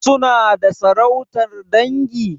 Suna da sarautar dangi?